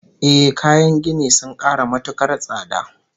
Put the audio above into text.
Ehh, kayan gini sun ƙara matuƙar tsada